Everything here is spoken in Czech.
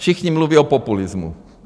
Všichni mluví o populismu.